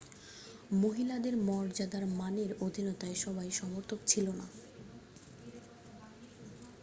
মহিলাদের মর্যাদার মানের অধীনতায় সবাই সমর্থক ছিল না